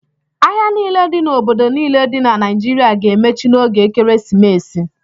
Ahịa niile dị n'obodo niile dị na Naịjirịa ga-emechi n'oge ekeresimesi.